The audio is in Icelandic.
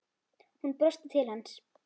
Hún brosti til hans.